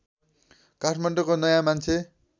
काठमाडौँको नयाँ मान्छे